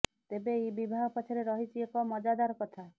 ତେବେ ଏହି ବିବାହ ପଛରେ ରହିଛି ଏକ ମଜାଦାର କଥା